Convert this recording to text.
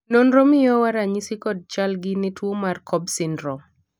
nonro miyowa ranyisi kod chal gi ne tuo mar cobb syndrome